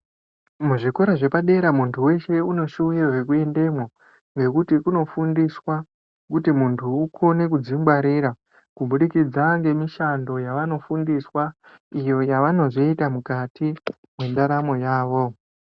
Muzvikora zvepadera muntu weshe uneshuwiro yekuendemo nokuti kunofundiswa kuti muntu ukone kudzingwarira kubudikidza ngemishando yavanofundiswa iyo yavanozoita mukati mwendaramo yawo.